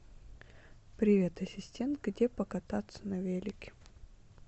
привет ассистент где покататься на велике